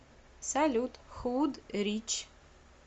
салют худ рич